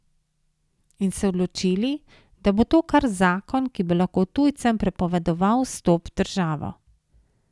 In se odločili, da bo to kar zakon, ki bo lahko tujcem prepovedoval vstop v državo.